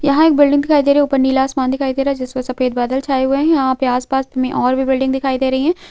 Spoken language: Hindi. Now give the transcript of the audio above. यह एक बिल्डिंग दिखाई दे रही है ऊपर नीला आसमान दिखाई दे रहा है जिस पे सफ़ेद बादल छाये हुए हैं यहाँ आसपास में और भी बिल्डिंग दिखाई दे रही है।